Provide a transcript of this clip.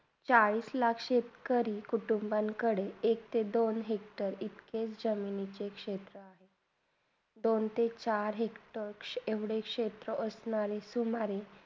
चाळीस लाख शेतकरी कुटुंबंकडे एकते -दोन hector इतकेच जमीनेचे क्षेत्र आहे दोन ते चार hector एवडे क्षेत्रा असणारे सुंभारी